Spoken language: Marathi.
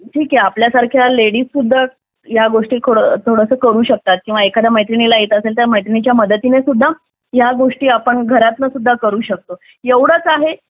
ठीक आहे आपल्यासारख्या लेडीज सुद्धा या गोष्टी करू शकतात किंवा एखाद्या मैत्रिणीला येत असेल तर मैत्रिणीच्या मदतीने सुद्धा आपण घरातून सुद्धा करू शकतो एवढेच आहे